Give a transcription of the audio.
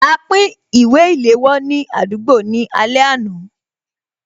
A pín ìwé ìléwọ́ ní àdúgbò ní alẹ́ àná